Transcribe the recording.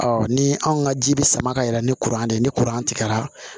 ni anw ka ji bɛ sama ka yɛlɛ ni kuran de ye ni tigɛra